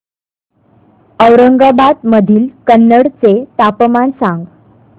औरंगाबाद मधील कन्नड चे तापमान सांग